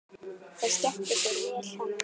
Þeir skemmtu sér vel saman.